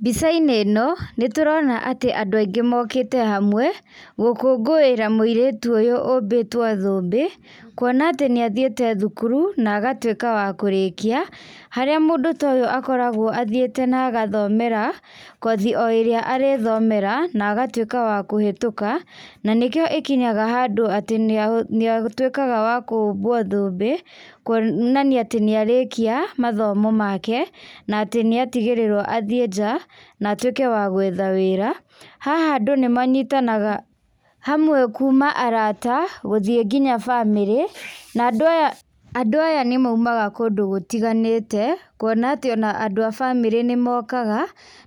Mbica-inĩ ĩno, nĩtũrona atĩ andũ aingĩ mokĩte hamwe, gũkũngũĩra mũirĩtu ũyũ ũmbĩtwo thũmbĩ, kuona atĩ nĩahiĩte thukuru, na agatwĩka wa kũrĩkia, harĩa mũndũ toyũ akoragwo athiĩte na agathomera, kothi o ĩrĩa arĩthomera, naagatwĩka wa kũhĩtũka, nanĩkĩo ĩkinyaga handũ atĩ nĩa, nĩatwĩkaga wakũbwo thũmbĩ, kuonania atĩ nĩarĩkia mathomo make, natĩ nĩatigĩrĩrwo athiĩ nanjaa, natwĩke wa gwetha wĩra, haha andũ nĩmanyitanaga hamwe, kuma arata, gũthiĩ nginya bamĩrĩ, na andũ aya, andũ aya nĩmaumaga kũndũ gũtiganĩte, kuona atĩ ona andũ a bamĩrĩ nĩmokaga,